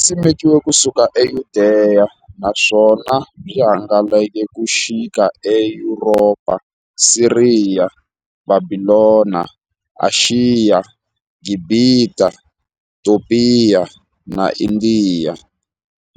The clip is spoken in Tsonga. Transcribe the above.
Simekiwe ku suka eYudeya, naswona byi hangalake ku xika eYuropa, Siriya, Bhabhilona, Ashiya, Gibhita, Topiya na Indiya,